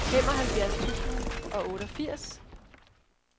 femoghalvfjerds tusind og otteogfirs